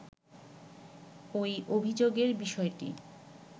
ওই অভিযোগের বিষয়টি